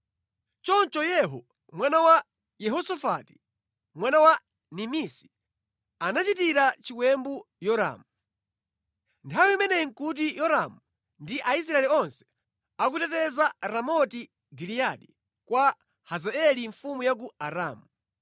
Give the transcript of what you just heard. Choncho Yehu mwana wa Yehosafati, mwana wa Nimisi, anachitira chiwembu Yoramu. (Nthawi imeneyi nʼkuti Yoramu ndi Aisraeli onse akuteteza Ramoti Giliyadi kwa Hazaeli mfumu ya ku Aramu,